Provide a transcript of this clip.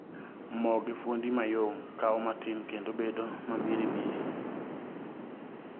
Mo gi fuondi mayom kao matin kendo bedo mamiri miri.